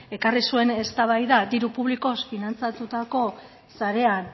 ekarri zuen eztabaida diru publikoz finantzatutako sarean